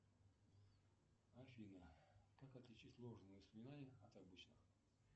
афина как отличить ложные воспоминания от обычных